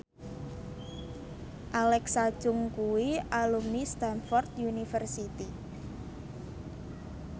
Alexa Chung kuwi alumni Stamford University